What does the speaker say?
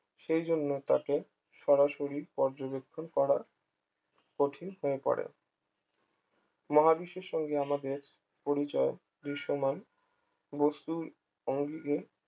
সেই জন্য তাকে সরাসরি পর্যবেক্ষণ করা কঠিন হয়ে পড়ে মহাবিশ্বের সঙ্গে আমাদের পরিচয় দৃশ্যমান বস্তুর ভঙ্গিকে